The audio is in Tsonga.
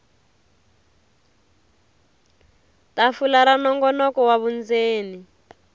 tafula ra nongonoko wa vundzeni